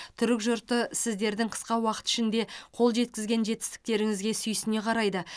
түрік жұрты сіздердің қысқа уақыт ішінде қол жеткізген жетістіктеріңізге сүйсіне қарайды